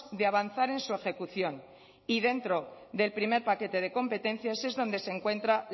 de avanzar en su ejecución y dentro del primer paquete de competencias es donde se encuentra